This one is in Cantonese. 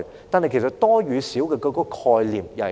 但其實多與少的概念是甚麼？